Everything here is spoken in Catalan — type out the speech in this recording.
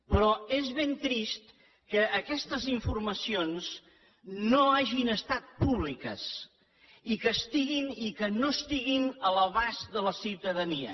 però és ben trist que aquestes informacions no hagin estat públiques i que no estiguin a l’abast de la ciutadania